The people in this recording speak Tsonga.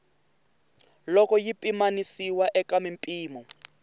loko yi pimanisiwa eka mimpimo